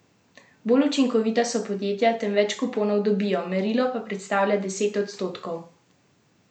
Bolj učinkovita so podjetja, tem več kuponov dobijo, merilo pa predstavlja deset odstotkov najučinkovitejših podjetij v panogi.